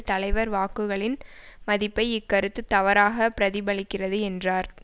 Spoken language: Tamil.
தலைவர் வாக்குகளின் மதிப்பை இக்கருத்து தவறாக பிரதிபலிக்கிறது என்றார்